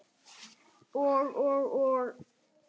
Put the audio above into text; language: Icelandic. Og, og, og.